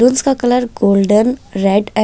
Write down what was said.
colour golden red -----